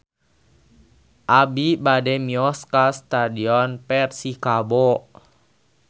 Abi bade mios ka Stadion Persikabo